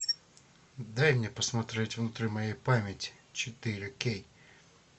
дай мне посмотреть внутри моей памяти четыре кей